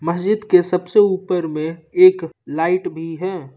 मस्जिद के सबसे ऊपर में एक लाइट भी है।